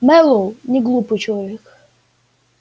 мэллоу неглупый человек